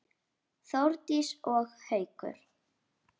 Þórdís og Haukur.